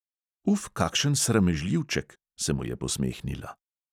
"Uf, kakšen sramežljivček!" se mu je posmehnila.